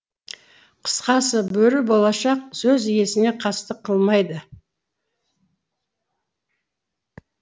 қысқасы бөрі болашақ сөз иесіне қастық қылмайды